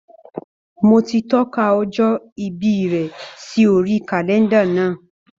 Mo ti tọ́ka ọjọ́ ìbí rẹ̀ sí orí kàlẹ́ńdà náà.